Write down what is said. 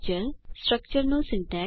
સ્ટ્રક્ચરનું syntax